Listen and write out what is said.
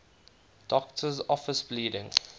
doctor's office bleeding